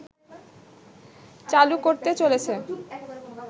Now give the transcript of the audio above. চালু করতে চলেছে